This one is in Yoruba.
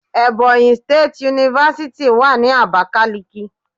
Ebonyi State University wà ní Abakiliki.